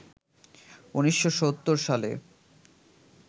১৯৭০ সালে